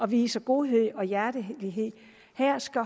vise godhed og hjertelighed her skal